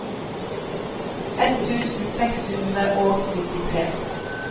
ett tusen seks hundre og nittitre